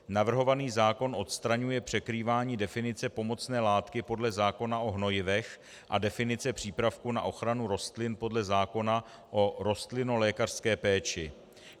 Navrhovaný zákon odstraňuje překrývání definice pomocné látky podle zákona o hnojivech a definice přípravku na ochranu rostlin podle zákona o rostlinolékařské péči.